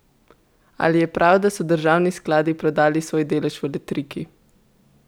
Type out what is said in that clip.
Ali je prav, da so državni skladi prodali svoj delež v Letriki?